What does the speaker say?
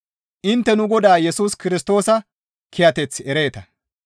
Intte nu Godaa Yesus Kirstoosa kiyateth ereeta.